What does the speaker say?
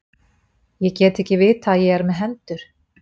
Ég get ekki vitað að ég er með hendur.